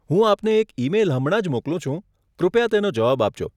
હું આપને એક ઈ મેઈલ હમણાં જ મોકલું છું. કૃપયા તેનો જવાબ આપજો.